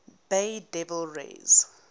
bay devil rays